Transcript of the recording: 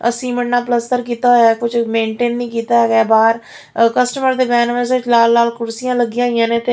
cement ਨਾਲ ਪਲਸਤਰ ਕੀਤਾ ਹੋਇਆ ਕੁਝ ਮੇਨਟੇਨ ਨਹੀ ਕੀਤਾ ਹੈਗਾ ਬਾਹਰ ਕਸਟਮਰ ਦੇ ਬਹਿਣ ਵਾਸਤੇ ਲਾਲ-ਲਾਲ ਕੁਰਸੀਆਂ ਲੱਗੀਆਂ ਹੋਈਆਂ ਨੇ ਤੇ --